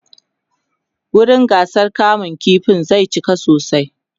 wurin gasar kama ƙifin zai cika sosai